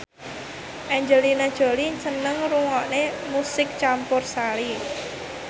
Angelina Jolie seneng ngrungokne musik campursari